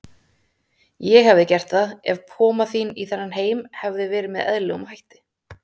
Ég hefði gert það, ef koma þín í þennan heim hefði verið með eðlilegum hætti.